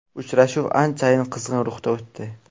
Uchrashuv anchayin qizg‘in ruhda o‘tdi.